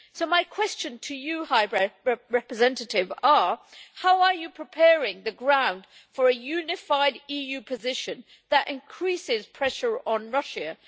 So my questions to you, High Representative are how are you preparing the ground for a unified EU position that increases pressure on Russia?